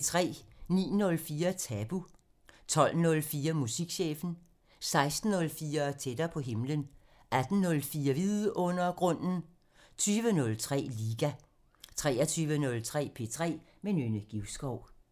09:04: Tabu (Afs. 40) 12:04: Musikchefen 16:04: Tættere på himlen 18:04: Vidundergrunden (Afs. 45) 20:03: Liga 23:03: P3 med Nynne Givskov